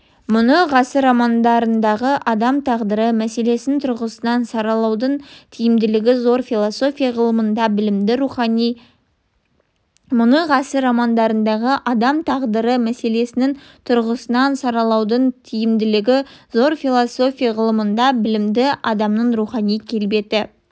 мұны ғасыр романдарындағы адам тағдыры мәселесінің тұрғысынан саралаудың тиімділігі зор философия ғылымында білімді адамның рухани келбеті